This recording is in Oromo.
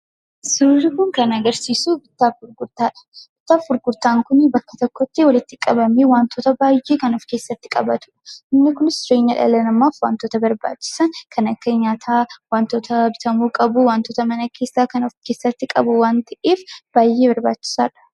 Suurri kun kan agarsiisu bittaaf gurgurtaadha. Bittaaf gurgurtaan kun bakka tokkotti walitti qabanii wantoota baay'ee ofkeessatti qabatu. Inni kunis jireenya dhala namaaf wantota barbaachisan kan akka nyaataa , wantoota bitamuu qabu wantoota mana keessaa kan of keessatti qabu waan ta'eef baay'ee barbaachisaadha.